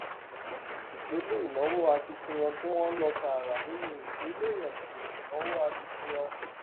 ìpele ìnáwó akitiyan tí wọn lò tààrà nínú ìpele ètò ìnáwó akitiyan